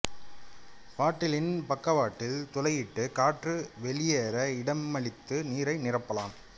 பாட்டிலின் பக்கவாட்டில் துளையிட்டு காற்று வெளியேற இடமளித்து நீரை நிரப்பலாம்